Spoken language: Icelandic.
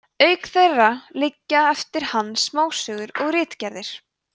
auk þeirra liggja eftir hann smásögur og ritgerðir